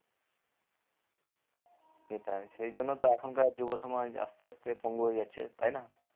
সেটাই সেই জন্য তো এখনকার যুগের সময় আস্তে আস্তে পঙ্গু হয়ে যাচ্ছে তাই না